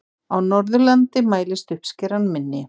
Á Norðurlandi mælist uppskeran minni.